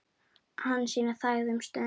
Hansína þagði um stund.